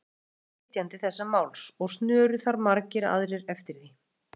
Var Guðmundur flytjandi þessa máls, og snöru þar margir aðrir eftir því.